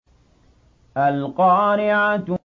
الْقَارِعَةُ